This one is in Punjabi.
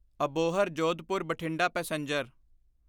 ਅਬੋਹਰ ਜੋਧਪੁਰ ਬਠਿੰਡਾ ਪੈਸੇਂਜਰ